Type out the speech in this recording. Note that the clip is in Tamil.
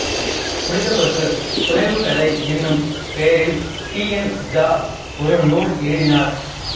புனிதப்பசு புனைவு கதை என்னும் பெயரில் டி என் ஜா ஒரு நூல் எழுதினார்